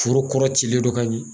Foro kɔrɔ cilen don ka ɲɛ.